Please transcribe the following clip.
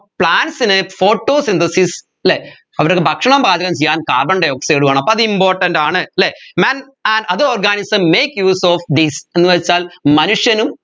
plants ന് photosynthesis അല്ലെ അവരുടെ ഭക്ഷണം പാചകം ചെയ്യാൻ carbon dioxide വേണം അപ്പോ അത് important ആണ് അല്ലെ men and other organism make use of these എന്നുവെച്ചാൽ മനുഷ്യനും